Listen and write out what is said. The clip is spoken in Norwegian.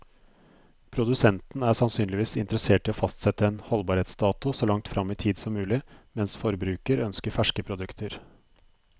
Produsenten er sannsynligvis interessert i å fastsette en holdbarhetsdato så langt frem i tid som mulig, mens forbruker ønsker ferske produkter.